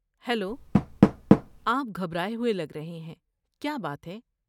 Hello, آپ گھبرائے ہوئے لگ رہے ہیں، کیا بات ہے؟